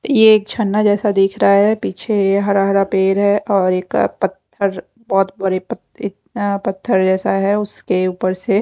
ये एक झरना जैसा दिख रहा है पीछे हरा हरा पेड़ है और एक पत्थर बहुत बड़े पत्थर जैसा है उसके ऊपर से--